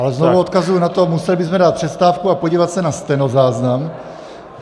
Ale znovu odkazuji na to, museli bychom dát přestávku a podívat se na stenozáznam.